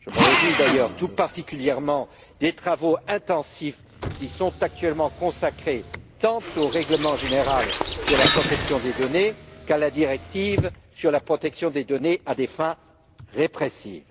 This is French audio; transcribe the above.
Je me réjouis d'ailleurs tout particulièrement des travaux intensifs qui sont actuellement consacrés tant au règlement général sur la protection des données qu'à la directive sur la protection des données à des fins répressives.